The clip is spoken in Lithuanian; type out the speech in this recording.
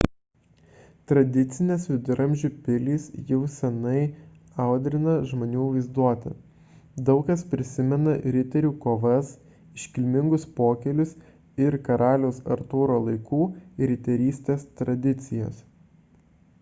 tradicinės viduramžių pilys jau seniai audrina žmonių vaizduotę – daug kas prisimena riterių kovas iškilmingus pokylius ir karaliaus artūro laikų riterystės tradicijas